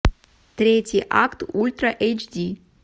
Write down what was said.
третий акт ультра эйч ди